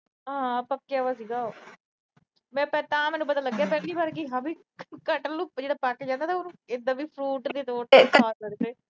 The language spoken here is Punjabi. ਹਾਂ ਪੱਕਿਆ ਵਾ ਸੀਗਾ। ਤਾਂ ਮੈਨੂੰ ਪਤਾ ਲੱਗਿਆ ਪਹਿਲੀ ਵਾਰ ਹਾਂ ਵੀ ਕਟਹਲ ਜਿਹੜਾ ਪੱਕ ਜਾਂਦਾ ਨਾ, ਉਹਨੂੰ ਇਦਾਂ ਵੀ byte ਦੇ ਤੌਰ ਤੇ ਖਾ ਸਕਦੇ।